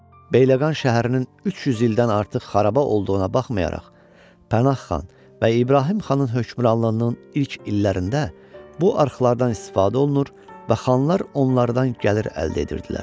Bəyləqan şəhərinin 300 ildən artıq xaraba olduğuna baxmayaraq, Pənah xan və İbrahim xanın hökmranlığının ilk illərində bu arxlardan istifadə olunur və xanlar onlardan gəlir əldə edirdilər.